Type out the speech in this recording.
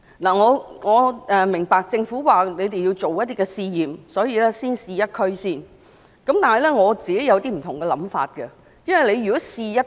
我明白政府說要進行一些試驗，所以先在一區試行，但我有不同的想法。